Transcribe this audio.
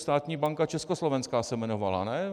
Státní banka československá se jmenovala, ne?